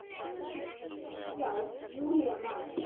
Já, Júlía man.